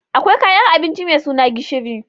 Akwai kayan abinci mai suna gishiri